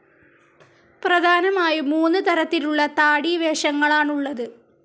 പ്രധാനമായും മൂന്ന് തരത്തിലുള്ള താടി വേഷങ്ങളാണുള്ളത്.